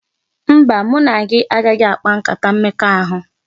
Mba, mụ na gị agaghị akpa nkata mmekọahụ